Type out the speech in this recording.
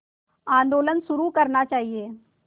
आंदोलन शुरू करना चाहिए